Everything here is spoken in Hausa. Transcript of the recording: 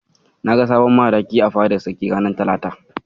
Na ga sabon Madaki a fadar Sarki ranar talata.